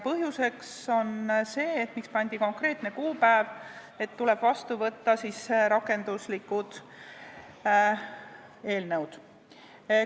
Põhjus, miks pandi konkreetne kuupäev, on see, et tuleb vastu võtta rakenduslikud eelnõud.